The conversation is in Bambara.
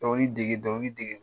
Dɔnkili dege dɔnkili dege.